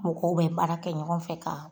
Mɔgɔw bɛ baara kɛ ɲɔgɔn fɛ ka